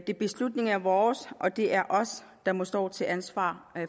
de beslutninger er vores og det er os der må stå til ansvar